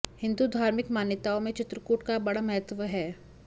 हिंदू धार्मिक मान्यताओं में चित्रकूट का बड़ा महत्व है